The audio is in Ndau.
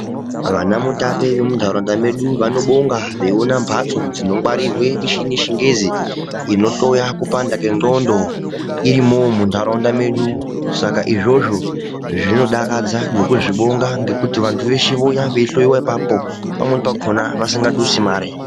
Vana mutape vamuntaraunda medu vanobonga veiona mbatso dzinongwarirwe mishini yechingezi inohloya kupanda kwendxondo irimowo muntaraunda medu saka izvozvo zvinodakadza nekuzvibonga nekuti vantu veshe vouya veihloyiwa apapo pamweni pakhona vasingadusi mare.